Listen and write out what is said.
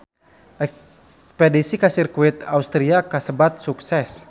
Espedisi ka Sirkuit Austria kasebat sukses